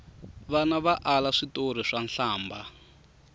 vana va ala switori swa nhlambha